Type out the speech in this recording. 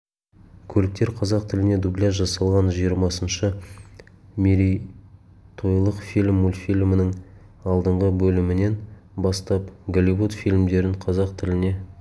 көліктер қазақ тіліне дубляж жасалған жиырмасыншы мерейтойлық фильм мультфильмінің алдыңғы бөлімінен бастап голливуд фильмдерін қазақ тіліне